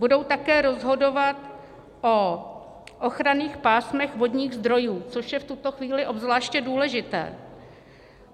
Budou také rozhodovat o ochranných pásmech vodních zdrojů, což je v tuto chvíli obzvláště důležité.